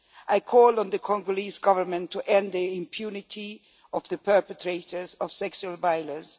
I call on the Congolese Government to end the impunity of the perpetrators of sexual violence.